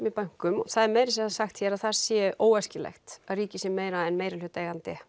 í bönkum það er meira að segja sagt hér að það sé óæskilegt að ríkið sé meira en meirihlutaeigandi